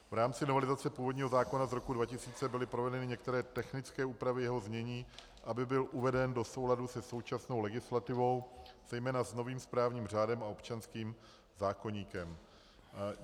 V rámci novelizace původního zákona z roku 2000 byly provedeny některé technické úpravy jeho znění, aby byl uveden do souladu se současnou legislativou, zejména s novým správním řádem a občanským zákoníkem.